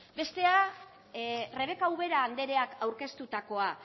bestea rebeka ubera andreak aurkeztutakoa